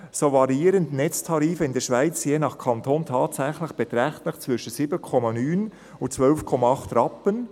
So variieren Netztarife in der Schweiz je nach Kanton tatsächlich beträchtlich zwischen 7.9 Rp./kWh und 12.8 Rp./kWh.